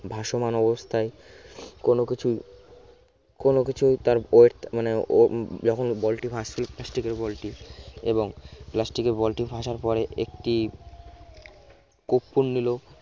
ভাসমান অবস্থায় কোন কিছু কোনো কিছু তার মানে ও যখন ball টি ভাসছিলো plastic এর ball টি এবং plastic এর ball টি ভাসার পরে একটি কর্পূর নিল